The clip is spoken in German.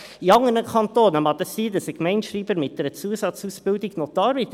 In anderen Kantonen mag es sein, dass ein Gemeindeschreiber mit einer Zusatzausbildung Notar wird.